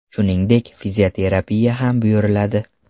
Shuningdek, fizioterapiya ham buyuriladi.